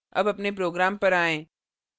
अब अपने program पर आएँ